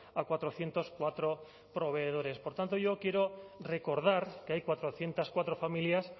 a cuatrocientos cuatro proveedores por tanto yo quiero recordar que hay cuatrocientos cuatro familias